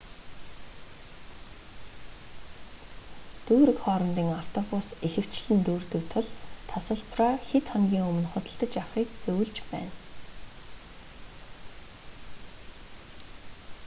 дүүрэг хоорондын автобус ихэвчлэн дүүрдэг тул тасалбараа хэд хоногийн өмнө худалдаж авахыг зөвлөж байна